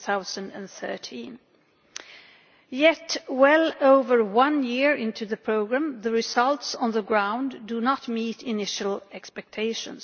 2013. Yet well over one year into the programme, the results on the ground do not meet initial expectations.